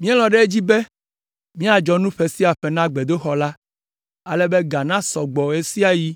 “Míelɔ̃ ɖe edzi be míadzɔ nu ƒe sia ƒe na gbedoxɔ la, ale be ga nasɔ gbɔ ɣe sia ɣi